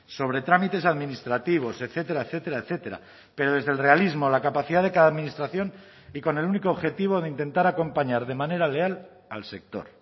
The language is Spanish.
sobre trámites administrativos etcétera etcétera etcétera pero desde el realismo la capacidad de cada administración y con el único objetivo de intentar acompañar de manera leal al sector